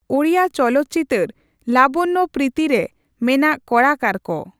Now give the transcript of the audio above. ᱳᱰᱤᱭᱟ ᱪᱚᱞᱚᱱ ᱪᱤᱛᱟ.ᱨ ᱞᱟᱵᱚᱬᱭᱚ ᱯᱨᱤᱛᱤ ᱨᱮ ᱢᱮᱱᱟᱜ ᱠᱚᱲᱟᱠᱟᱨ ᱠᱚ